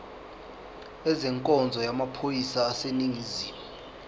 ezenkonzo yamaphoyisa aseningizimu